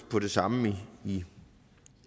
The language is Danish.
på det samme i